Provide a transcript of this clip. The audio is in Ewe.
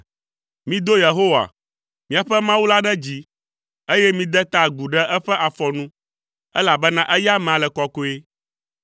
Mido Yehowa, míaƒe Mawu la ɖe dzi, eye mide ta agu ɖe eƒe afɔ nu, elabena eya amea le kɔkɔe.